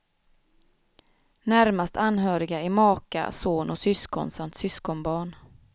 Närmast anhöriga är maka, son och syskon samt syskonbarn.